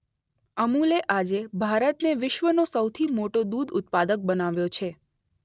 અમૂલે આજે ભારતને વિશ્વનો સૌથી મોટો દૂધ ઉત્પાદક બનાવ્યો છે.